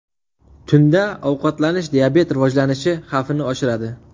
Tunda ovqatlanish diabet rivojlanishi xavfini oshiradi.